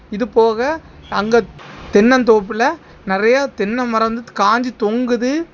இதுபோக அங்கே தென்னந்தோப்புல நெறைய தென்னை மரம் வந்து காஞ்சு தொங்குது.